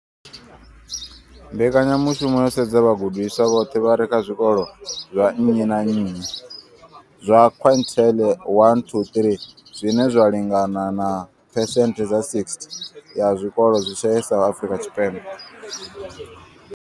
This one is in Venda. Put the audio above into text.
Mbekanyamushumo yo sedza vhagudiswa vhoṱhe vha re kha zwikolo zwa nnyi na nnyi zwa quintile 1 to 3, zwine zwa lingana na phesenthe dza 60 ya zwikolo zwi shayesaho Afrika Tshipembe.